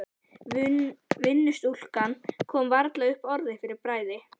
Vinnustúlkan kom varla upp orði fyrir bræði.